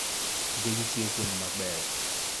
Tije gi jiwo puonj mabeyo